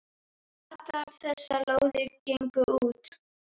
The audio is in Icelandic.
Allar þessar lóðir gengu út.